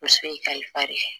Muso y'i kalifa de